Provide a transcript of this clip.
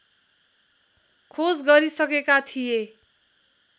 खोज गरिसकेका थिए